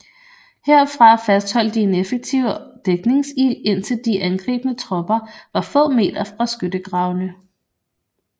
Herfra fastholdt de en effektiv dækningsild indtil de angribende tropper var få meter fra skyttegravene